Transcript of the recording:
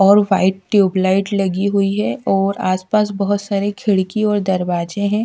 और white tube light लगी हुई है और आसपास बहुत सारे खिड़की और दरवाजे हैं।